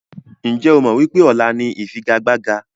Ǹjẹ́ o mọ wípé ọ̀la ni ifigagbaga?